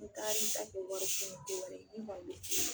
N'i tar'i ta kɛ wari tunu ye n te wari d'i ma tuguni